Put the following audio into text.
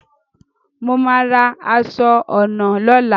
Mo màá ra aṣọ ọnà lóla